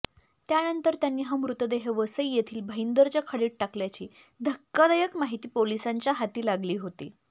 त्यानंतर त्यांनी हा मृतदेह वसई येथील भाईंदरच्या खाडीत टाकल्याची धक्कादायक माहिती पोलिसांच्या हाती लागली होती